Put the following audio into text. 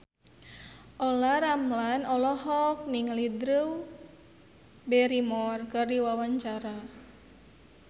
Olla Ramlan olohok ningali Drew Barrymore keur diwawancara